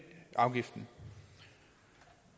afgiften